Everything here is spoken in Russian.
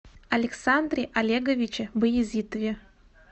александре олеговиче баязитове